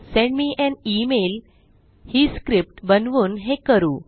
send me an email ही script बनवून हे करू